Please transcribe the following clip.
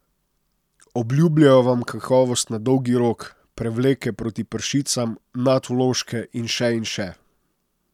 Obljubljajo vam kakovost na dolgi rok, prevleke proti pršicam, nadvložke in še in še.